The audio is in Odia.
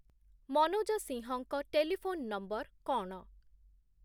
ମନୋଜ ସିଂହଙ୍କ ଟେଲିଫୋନ୍ ନମ୍ବର କ’ଣ?